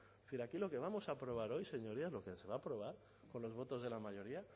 pero aquí lo que vamos a aprobar hoy señorías lo que se va a aprobar con los votos de la mayoría